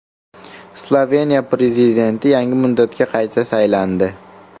Sloveniya prezidenti yangi muddatga qayta saylandi.